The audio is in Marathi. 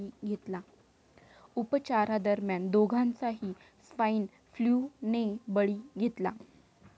उपचारादरम्यान दोघांचाही स्वाईन फ्लू ने बळी घेतला.